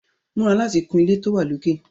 Múra láti kun ilé tó wà lókè!